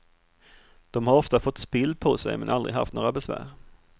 De har ofta fått spill på sig men aldrig haft några besvär.